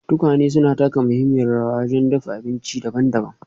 Tukwane suna taka muhimmiyar rawa wajen dafa abinci daban-daban.